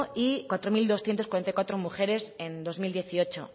y cuatro mil doscientos cuarenta y cuatro mujeres en dos mil dieciocho